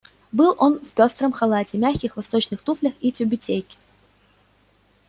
был он в пёстром халате мягких восточных туфлях и тюбетейке